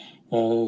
Riigikogu liikmed!